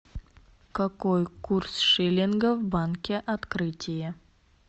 какой курс шиллинга в банке открытие